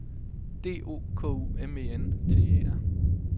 D O K U M E N T E R